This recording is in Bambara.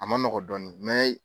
A ma nɔgɔ dɔɔnin mɛ